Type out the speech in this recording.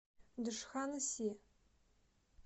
джханси